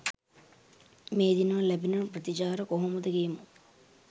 මේ දිනවල ලැබෙන ප්‍රතිචාර කොහොමද කියමු?